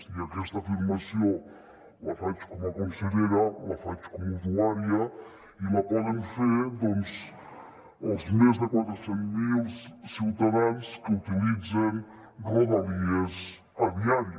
i aquesta afirmació la faig com a consellera la faig com a usuària i la poden fer doncs els més de quatre cents miler ciutadans que utilitzen rodalies a diari